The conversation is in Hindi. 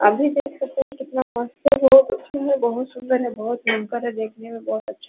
आप भी देख सकते हैं कितना मस्त हैं वो बहोत सुंदर है बहोत मन कर रहा है देखने का बहोत अच्छा --